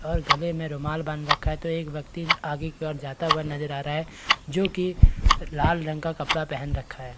और गले में रुमाल बाँध रखा है तो एक व्यक्ति आगे की ओर जाता हुआ नजर आ रहा है जो कि लाल रंग का कपड़ा पहन रखा है।